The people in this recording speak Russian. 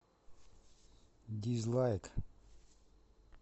дизлайк